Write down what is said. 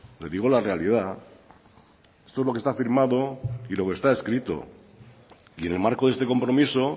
le digo la realidad esto es lo que está firmado y lo que está escrito y en el marco de este compromiso